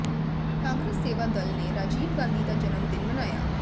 ਕਾਂਗਰਸ ਸੇਵਾ ਦਲ ਨੇ ਰਾਜੀਵ ਗਾਂਧੀ ਦਾ ਜਨਮ ਦਿਨ ਮਨਾਇਆ